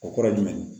O kɔrɔ ye jumɛn ye